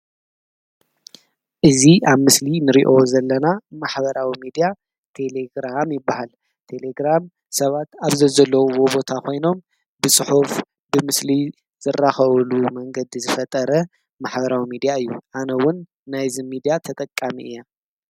እዚ አብ ምስሊ እንሪኦ ዘለና ማሕበራዊ ሚድያ ቴሌግራም ይበሃል፡፡ ቴሌግራም ሰባት አብ ዘዘለውዎ ቦታ ኮይኖም ብፅሑፍ፣ ብምስሊ ዝራከብሉ መንገዲ ዝፈጠረ ማሕበራዊ ሚድያ እዩ፡፡ አነ’ውን ናይዚ ሚድያ ተጠቃሚ እየ፡፡